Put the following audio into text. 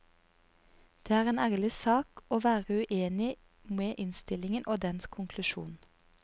Det er en ærlig sak å være uenig med innstillingen og dens konklusjon.